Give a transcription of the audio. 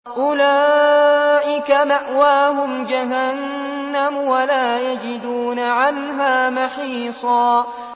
أُولَٰئِكَ مَأْوَاهُمْ جَهَنَّمُ وَلَا يَجِدُونَ عَنْهَا مَحِيصًا